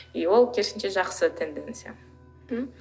и ол керісінше жақсы тенденция м